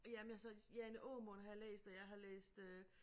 Jamen altså Jane Åmund har jeg læst og jeg har læst øh